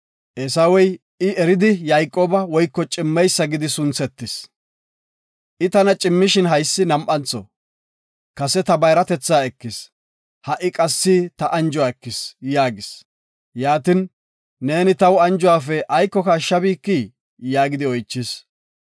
Eesawey, “I eridi Yayqooba (Cimmeysa) gidi sunthetis. I tana cimmishin haysi nam7antho, kase ta bayratetha ekis, ha7i qassi ta anjuwa ekis” yaagis. Yaatin, “Neeni taw anjuwafe aykoka ashshabikii?” yaagidi oychis.